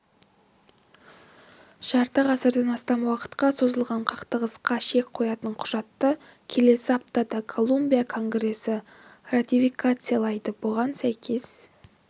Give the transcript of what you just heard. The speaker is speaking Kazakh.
жарты ғасырдан астам уақытқа созылған қақтығысқа шек қоятын құжатты келесі аптада колумбия конгресі ратификациялайды бұған сәйкес